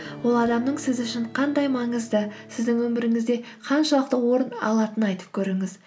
ол адамның сіз үшін қандай маңызды сіздің өміріңізде қаншалықты орын алатынын айтып көріңіз